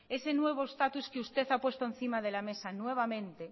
ese nuevo status que usted ha puesto encima de la mesa nuevamente